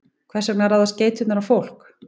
Hvers vegna ráðast geitungar á fólk?